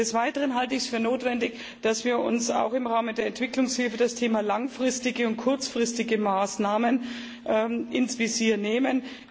Desweiteren halte ich es für notwendig, dass wir auch im Rahmen der Entwicklungshilfe das Thema langfristige und kurzfristige Maßnahmen ins Visier nehmen.